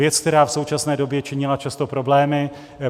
Věc, která v současné době činila často problémy;